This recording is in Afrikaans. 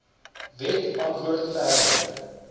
wet antwoord verder